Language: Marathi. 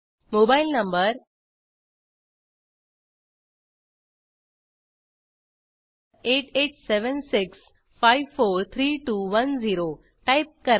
मोबाईल नंबर 8876543210 टाईप करा